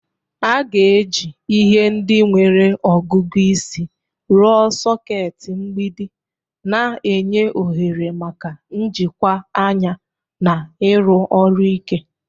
A ga-eji ihe ndị nwere ọgụgụ isi rụọ soketi mgbidi, na-enye ohere maka njikwa anya na ịrụ ọrụ ike.